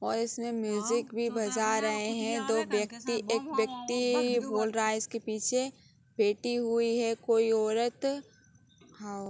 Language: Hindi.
और इसमें म्यूजिक भी बजा रहे हैं। दो व्यक्ति एक व्यक्ति बोल रहा है। इसके पीछे ही बैठी हुई है कोई औरत है।